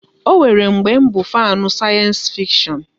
Ọ nwere mgbe bụ fanu sayensi fikshon